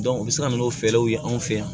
u bɛ se ka n'o fɛɛrɛw ye anw fɛ yan